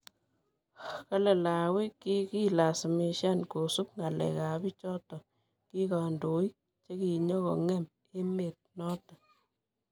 Kale Lawi kikilasimishan kosup ngalekap pichotok ki kandoik chekinyikongem emet notok.